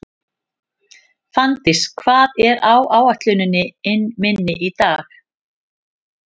Finndís, hvað er á áætluninni minni í dag?